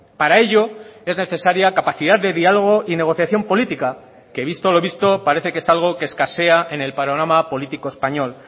para ello es necesaria capacidad de diálogo y negociación política que visto lo visto parece que es algo que escasea en el panorama político español